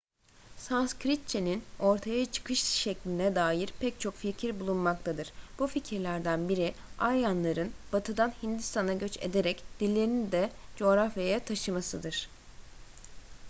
sanskritçe'nin ortaya çıkış şekline dair pek çok fikir bulunmaktadır bu fikirlerden biri aryanların batı'dan hindistan'a göç ederek dillerini de coğrafyaya taşımasıdır